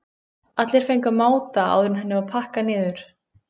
Allir fengu að máta áður en henni var pakkað niður.